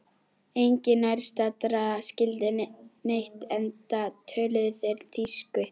Enginn nærstaddra skildi neitt enda töluðu þeir þýsku.